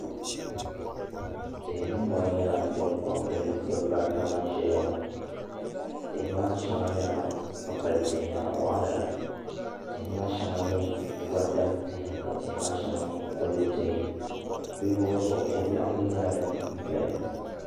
Tihi ni mori nyɛla din ko n gili dabba ata ban ʒɛya ŋo tihi maa shɛŋa nyɛla kpukpali tihi zaɣ waɣala ka tihi maa shɛŋa nyɛ gonda tihi ka tihi maa shɛŋa nyɛ kodu tihi bi luɣuli zuɣu ko biɛɣu ku nyɛla din doya